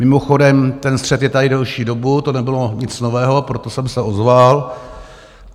Mimochodem, ten střet je tady delší dobu, to nebylo nic nového, proto jsem se ozval.